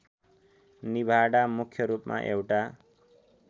निभाडा मुख्यरूपमा एउटा